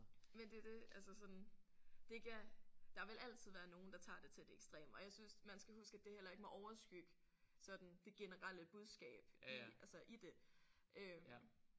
Men det er det. Altså sådan det er ikke der vil altid være nogen der tager det til det ekstreme og jeg synes man skal huske at det heller ikke må overskygge sådan det generelle budskab i altså i det øh